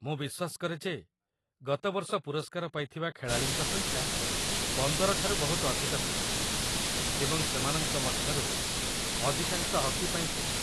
ମୁଁ ବିଶ୍ୱାସ କରେ ଯେ ଗତ ବର୍ଷ ପୁରସ୍କାର ପାଇଥିବା ଖେଳାଳିଙ୍କ ସଂଖ୍ୟା ୧୫ ଠାରୁ ବହୁତ ଅଧିକ ଥିଲା ଏବଂ ସେମାନଙ୍କ ମଧ୍ୟରୁ ଅଧିକାଂଶ ହକି ପାଇଁ ଥିଲେ।